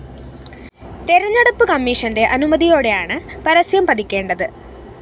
തെരഞ്ഞെടുപ്പ് കമ്മീഷന്റെ അനുമതിയോടെയാണ് പരസ്യം പതിക്കേണ്ടത്